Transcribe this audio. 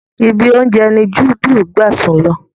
Ibi oúnjẹ ni juudu gbà sùn lọ